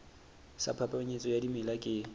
sa phapanyetso ya dimela ke